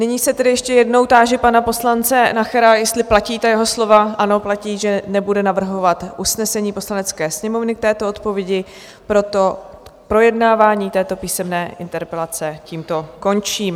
Nyní se tedy ještě jednou táži pana poslance Nachera, jestli platí ta jeho slova - ano, platí - že nebude navrhovat usnesení Poslanecké sněmovny k této odpovědi, proto projednávání této písemné interpelace tímto končím.